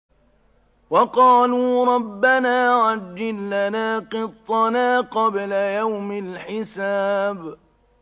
وَقَالُوا رَبَّنَا عَجِّل لَّنَا قِطَّنَا قَبْلَ يَوْمِ الْحِسَابِ